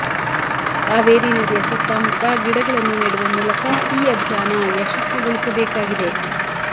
ಕಾವೇರಿ ನದಿಯ ಸುತ್ತಮುತ್ತ ಗಿಡಗಳನ್ನು ನೆಡುವ ಮೂಲಕ ಈ ಅಭಿಯಾನ ಯಶಸ್ವಿಗೊಳಿಸಬೇಕಾಗಿದೆ